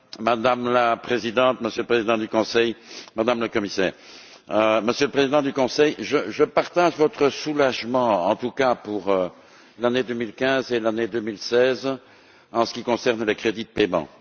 Madame la Présidente, Monsieur le Président du Conseil, Madame la Commissaire, Monsieur le Président du Conseil, je partage votre soulagement, en tout cas pour l'année 2015 et l'année 2016 en ce qui concerne les crédits de paiement.